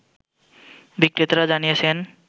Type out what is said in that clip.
বিক্রেতারা জানিয়েছেন